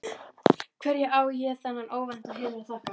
Hverju á ég þennan óvænta heiður að þakka?